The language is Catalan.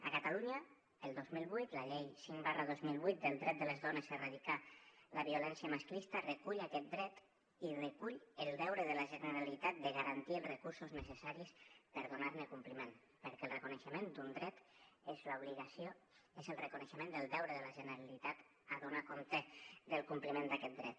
a catalunya el dos mil vuit la llei cinc dos mil set del dret de les dones a erradicar la violència masclista recull aquest dret i recull el deure de la generalitat de garantir els recursos necessaris per donar ne compliment perquè el reconeixement d’un dret és l’obligació és el reconeixement del deure de la generalitat a donar compte del compliment d’aquest dret